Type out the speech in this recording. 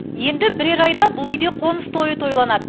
енді бірер айда бұл үйде қоныс тойы тойланады